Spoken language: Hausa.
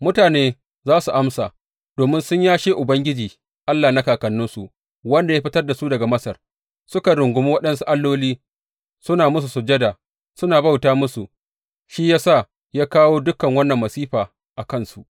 Mutane za su amsa, Domin sun yashe Ubangiji Allah na kakanninsu, wanda ya fitar da su daga Masar, suka rungumi waɗansu alloli, suna musu sujada, suna bauta musu, shi ya sa ya kawo dukan wannan masifa a kansu.